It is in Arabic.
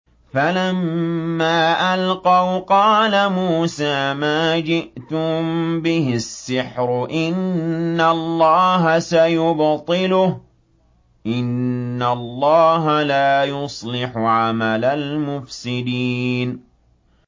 فَلَمَّا أَلْقَوْا قَالَ مُوسَىٰ مَا جِئْتُم بِهِ السِّحْرُ ۖ إِنَّ اللَّهَ سَيُبْطِلُهُ ۖ إِنَّ اللَّهَ لَا يُصْلِحُ عَمَلَ الْمُفْسِدِينَ